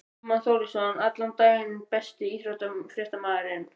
Guðmann Þórisson allan daginn Besti íþróttafréttamaðurinn?